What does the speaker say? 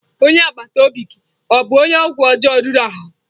Onye agbata obi gị ọ bụ onye ọgwụ ọjọọ riri ahụ?